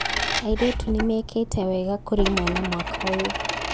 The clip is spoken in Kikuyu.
Airĩtu nĩmekĩte wega kũrĩ imwana mwaka ũyũ